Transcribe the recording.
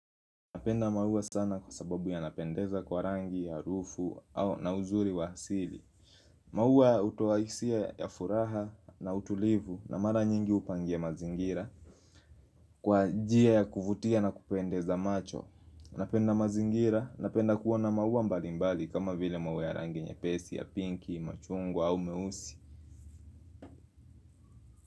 Napenda maua sana kwa sababu yanapendeza kwa rangi, harufu au na uzuri wa asili. Maua hutoa hisia ya furaha na utulivu na mara nyingi hupangia mazingira. Kwa njia ya kuvutia na kupendeza macho, napenda mazingira, napenda kuona maua mbalimbali kama vile maua ya rangi nyepesi, ya pinki, machungwa au meusi.